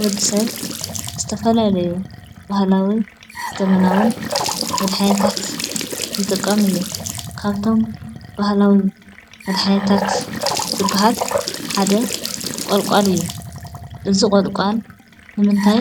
ወዲ ሰብ ዝተፈላለዩ ባህላውን ዘበናውን መድሓኒታት ይጥቀም እዩ ፡፡ካብቶም ባህላዊ መድሓኒታት ዝብሃል ሓደ ቆልቋል እዩ፡፡ እዚ ቆልቋል ንምንታይ